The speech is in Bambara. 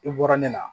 I bɔra ne na